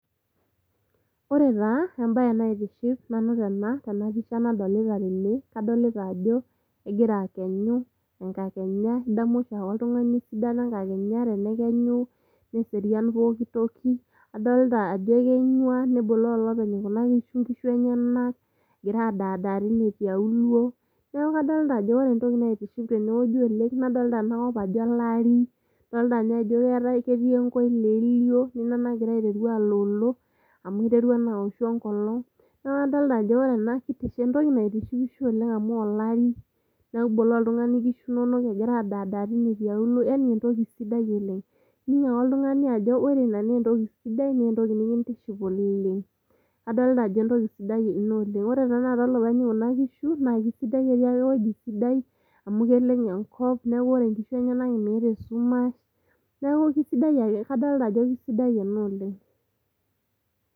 Ore taa embae naitiship tene tena pisha nadolita tene, kadolita ajo , egira akenyu ,enkakenya ,idamu oshiaake oltungani esidano enkakenya , tenekenyu neserian pooki toki . Adolta ajo ekenywa neboloo olopeny kuna kishu , nkishu enyenak, egira adaadaa tine tiauluo. Niaku kadolta ajo ore entoki naitiship tene wueji , nadolita ena kop ajo olari , adolta ninye ajo keetae , ketii enkoileelio nina nagira aiteru aloolo ,amu iterua naa aoshu enkolong. Niaku kadolta ajo entoki naitishipisho oleng amu olari, niboloo oltungani nkishu inonok egira adadaa tine tialuo yani entoki sidai oleng .Ining ake oltungani ajo ore ina naa entoki sidai naa entoki nikintiship oleng . Adolita ajo entoki sidai ina oleng, ore taata openy kuna kishu naa kisidai , ketii ake ewueji sidai amu keleng enkop niaku ore inkishu enyenak meeta esumash , niaku kisidai ake ,kadolta ajo kisidai ena oleng.